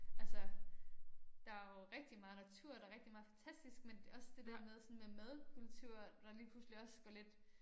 Altså der jo rigtig meget natur der rigtig meget fantastisk men også det der med sådan med madkultur der lige pludselig også går lidt